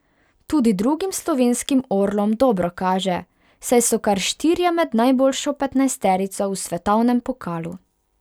Tudi drugim slovenskim orlom dobro kaže, saj so kar štirje med najboljšo petnajsterico v svetovnem pokalu.